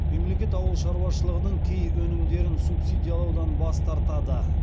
мемлекет ауыл шаруашылығының кей өнімдерін субсидиялаудан бас тартады